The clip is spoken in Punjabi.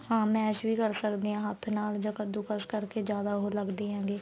ਹਾਂ mash ਵੀ ਕਰ ਸਕਦੇ ਆ ਹੱਥ ਨਾਲ ਜਾਂ ਕੱਦੁਕਸ ਕਰਕੇ ਜਿਆਦਾ ਉਹ ਲੱਗਦੇ ਹੈਗੇ